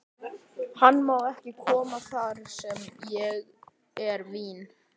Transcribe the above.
Hann má ekki koma þar sem er vín.